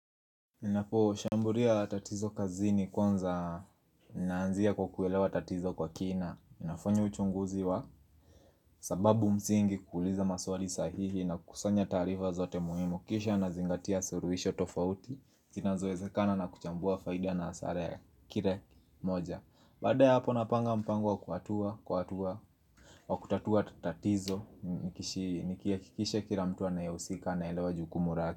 Ninaposhamburia tatizo kazini kwanza naanzia kwa kuelewa tatizo kwa kina. Ninafanya uchunguzi wa sababu msingi kuuliza maswali sahihi na kusanya taarifa zote muhimu Kisha nazingatia suruhisho tofauti, zinazoezekana na kuchambua faida na hasara ya kire moja Baada ya hapo napanga mpango kwa hatua wa kutatua tatizo Nikihakikisha kila mtu anayehusika anaelewa jukumu rake.